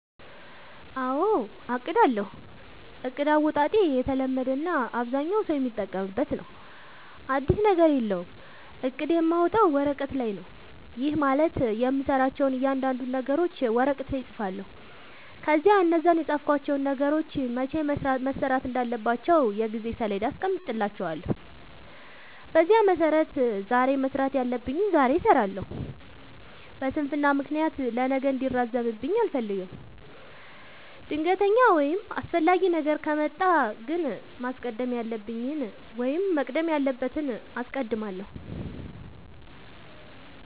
አዎ አቅዳለሁ። እቅድ አወጣጤ የተለመደ እና አብዛኛው ሠው የሚጠቀምበት ነው። አዲስ ነገር የለውም። እቅድ የማወጣው ወረቀት ላይ ነው። ይህም ማለት የምሠራቸውን እያንዳንዱን ነገሮች ወረቀት ላይ እፅፋለሁ። ከዚያ እነዛን የፃፍኳቸውን ነገሮች መቼ መሠራት እንዳለባቸው የጊዜ ሠሌዳ አስቀምጥላቸዋለሁ። በዚያ መሠረት ዛሬ መስራት ያለብኝን ዛሬ እሠራለሁ። በስንፍና ምክንያት ለነገ እንዲራዘምብኝ አልፈልግም። ድንገተኛ ወይም አስፈላጊ ነገር ከመጣ ግን ማስቀደም ያለብኝን ወይም መቅደም ያለበትን አስቀድማለሁ።